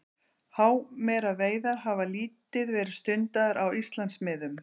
Hámeraveiðar hafa lítið verið stundaðar á Íslandsmiðum.